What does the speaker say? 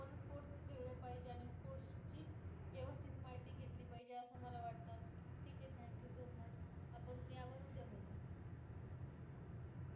व्यवस्थित माहिती घेतली पाहिजे असं मला वाटतं ठीक आहे thank you so much आपण या वर उद्या बोलू